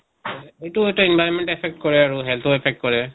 এইটো এটা environment affect কৰে আৰু health ৰ affect কৰে।